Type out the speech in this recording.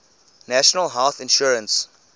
national health insurance